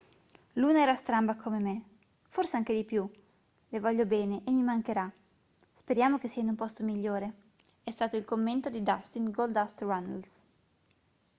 "luna era stramba come me forse anche di più le voglio bene e mi mancherà speriamo che sia in un posto migliore è stato il commento di dustin goldust runnels